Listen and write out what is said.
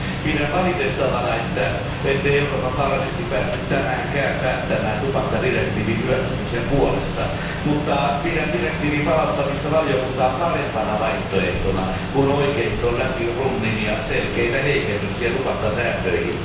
Pidän valitettavana, ettei Euroopan parlamentti päässyt tänäänkään päättämään tupakkadirektiivin hyväksymisen puolesta, mutta pidän direktiivin palauttamista valiokuntaan parempana vaihtoehtona kuin oikeiston läpi runnimia selkeitä heikennyksiä tupakkasääntöihin.